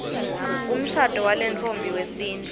umshado walentfombi wesintfu